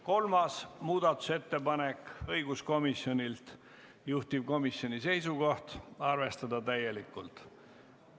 Kolmaski muudatusettepanek on õiguskomisjonilt, juhtivkomisjoni seisukoht on arvestada seda täielikult.